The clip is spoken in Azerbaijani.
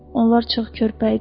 Onlar çox körpə idi.